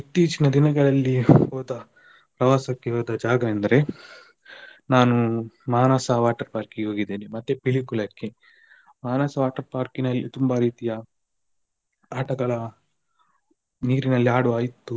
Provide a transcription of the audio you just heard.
ಇತ್ತೀಚಿನ ದಿನಗಳಲ್ಲಿ ಹೋದ ಪ್ರವಾಸಕ್ಕೆ ಹೋದ ಜಾಗ ಎಂದ್ರೆ ನಾನು Manasa water park ಹೋಗಿದ್ದೇನೆ ಮತ್ತೆ Pilikula ಕ್ಕೆ Manasa water park ನಲ್ಲಿ ತುಂಬ ರೀತಿಯ ಆಟಗಳ ನೀರಿನಲ್ಲಿ ಆಡುವ ಇತ್ತು.